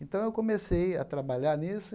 Então eu comecei a trabalhar nisso.